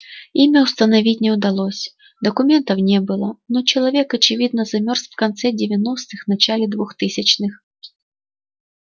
имя установить не удалось документов не было но человек очевидно замёрз в конце девяностых начале двухтысячных